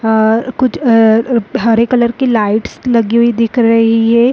अ कुछ अ हरे कलर की लाइट्स लगी हुई दिख रही है।